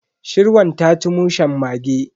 Shirwan ta ci mushen mage.